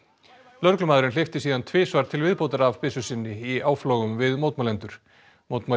lögreglumaðurinn hleypti síðan tvisvar til viðbótar af byssu sinni í áflogum við mótmælendur mótmælin